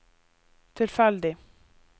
tilfeldig